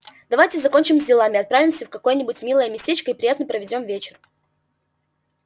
давайте закончим с делами отправимся в какое-нибудь милое местечко и приятно проведём вечер